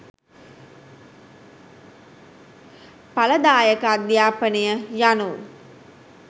ඵලදායක අධ්‍යාපනය යනු